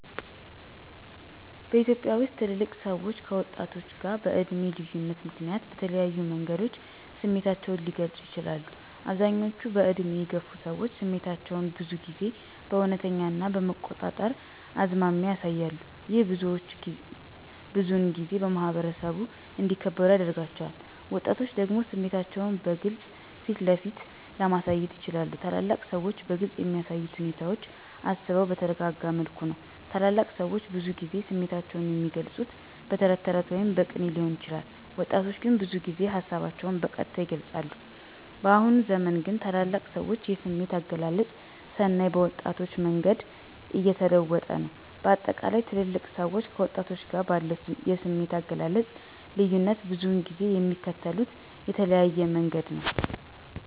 በኢትዮጵያ ውስጥ ትልልቅ ሰዎች ከወጣቶች ጋር በዕድሜ ልዩነት ምክንያት በተለያዩ መንገዶች ስሜታቸውን ሊገልጹ ይችላሉ፦ አብዛኞቹ በዕድሜ የገፉ ሰዎች ስሜታቸውን ብዙ ጊዜ በእውነተኛ ና በመቆጣጠር አዝማሚያ ያሳያሉ። ይህ ብዙውን ጊዜ በማኅበረሰቡ እንዲከበሩ ያደርጋቸዋል። ወጣቶች ደግሞ ስሜታቸውን በግልጽ ፊትለፊት ለማሳየት ይችላሉ። ታላላቅ ሰዎች በግልፅ የሚያሳዩት ሁኔታ አስበው በተረጋጋ መልኩ ነው። ታላላቅ ሰዎች ብዙውን ጊዜ ስሜታቸውን የሚገልፁት በተረት ወይም በቅኔ ሊሆን ይችላል። ወጣቶች ግን ብዙ ጊዜ ሀሳባቸውን በቀጥታ ይገልፃሉ። በአሁኑ ዘመን ግን ታላላቅ ሰዎች የስሜት አገላለጽ ስናይ በወጣቶች መንገድ እየተለወጠ ነው። በአጠቃላይ ትልልቅ ሰዎች ከወጣቶች ጋር ባለው የስሜት አገላለጽ ልዩነት ብዙውን ጊዜ የሚከተሉት የተለያየ መንገድ ነው።